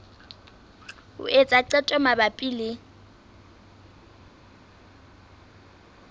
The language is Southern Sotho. ho etsa qeto mabapi le